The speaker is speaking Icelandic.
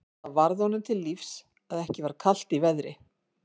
Það varð honum til lífs að ekki var kalt í veðri.